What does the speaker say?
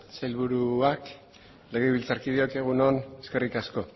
sailburuak legebiltzarkideok egun on eskerrik asko